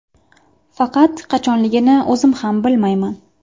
Faqat qachonligini o‘zim ham bilmayman.